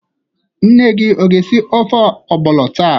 Nne gi ọ ga-esi ofe ọgbọnọ taa?